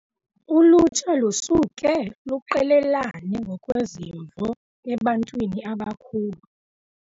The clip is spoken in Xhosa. Ulutsha lusuke luqelelane ngokwezimvo ebantwini abakhulu.